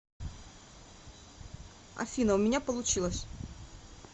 афина у меня получилось